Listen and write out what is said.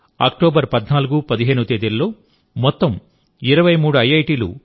ఈ నెలఅక్టోబరు 1415 తేదీల్లో మొత్తం 23 ఐ